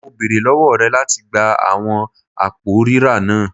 Mo beere lọwọ rẹ lati gba awọn apo rira naa